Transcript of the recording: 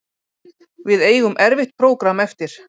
Við eigum erfitt prógramm eftir